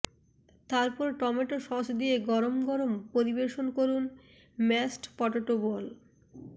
তারপর tomato sauce দিয়ে গরম গরম পরিবেশন করুন ম্যাশড পটেটো বল